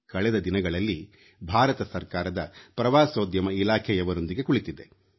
ಕಳೆದ ದಿನಗಳಲ್ಲಿ ಭಾರತ ಸರ್ಕಾರದ ಪ್ರವಾಸೋದ್ಯಮ ಇಲಾಖೆಯವರೊಂದಿಗೆ ಕುಳಿತಿದ್ದೆ